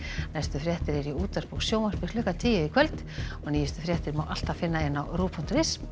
næstu fréttir eru í útvarpi og sjónvarpi klukkan tíu í kvöld og nýjustu fréttir má alltaf finna á rúv punktur is